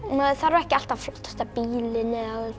maður þarf ekki alltaf flottasta bílinn eða